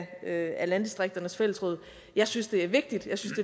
af landdistrikternes fællesråd jeg synes det er vigtigt jeg synes